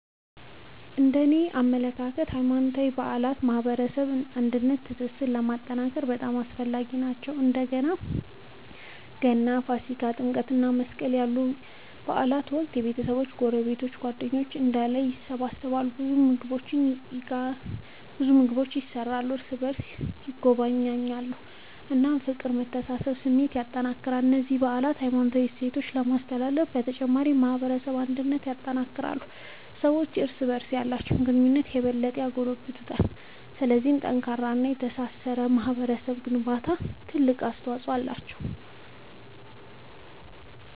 እነደኔ አመለካከት ሃይማኖታዊ በዓላት በማህበረሰባችን አንድነትንና ትስስርን ለማጠናከር በጣም አስፈላጊ ናቸው። በእንደ ገና፣ ፋሲካ፣ ጥምቀት እና መስቀል ያሉ በዓላት ወቅት ቤተሰቦች፣ ጎረቤቶች እና ጓደኞች በአንድ ላይ ይሰበሰባሉ። ሰዎች ምግብ ይጋራሉ፣ እርስ በርስ ይጎበኛሉ እና የፍቅርና የመተሳሰብ ስሜትን ያጠናክራሉ። እነዚህ በዓላት የሃይማኖት እሴቶችን ከማስተላለፍ በተጨማሪ የማህበረሰብ አንድነትን ያጠናክራሉ። ሰዎችም እርስ በርስ ያላቸውን ግንኙነት የበለጠ ያጎለብታሉ። ስለዚህ ለጠንካራና ለተሳሰረ ማህበረሰብ ግንባታ ትልቅ አስተዋጽኦ አላቸው።